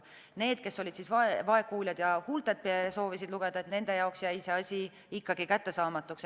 Need, kes olid vaegkuuljad ja soovisid huultelt lugeda, nende jaoks jäi see asi ikkagi kättesaamatuks.